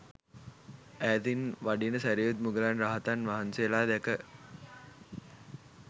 ඈතින් වඩින සැරියුත් මුගලන් රහතන් වහන්සේලා දැක